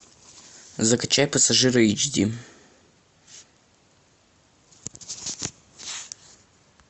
закачай пассажиры эйч ди